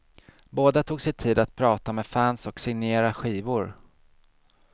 Båda tog sig tid att prata med fans och signera skivor.